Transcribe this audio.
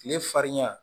Kile farinya